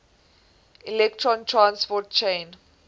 electron transport chain